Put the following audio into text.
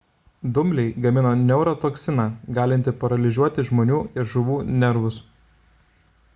dumbliai gamina neurotoksiną galintį paralyžiuoti žmonių ir žuvų nervus